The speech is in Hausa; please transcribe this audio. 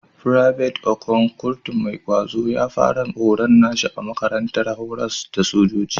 Private Okon, kurtu mai ƙwazo, ya fara horon nashi a makarantar horas da sojoji.